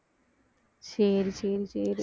சரி சரி சரி